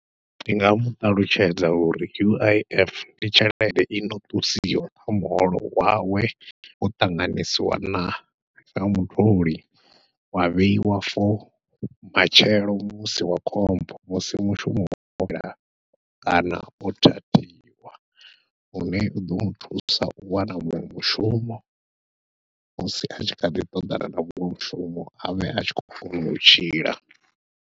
Ndi nga muṱalutshedza uri U_I_F ndi tshelede ino ṱusiwa kha muholo wawe wo ṱanganyisiwa na sa mutholi, wa vheyiwa for matshelo musi wa khombo musi mushumo wo fhela kana o thathiwa lune uḓo muthusa u wana muṅwe mushumo musi atshi kha ḓi ṱoḓana na muṅwe mushumo avhe atshi khou kona u tshila.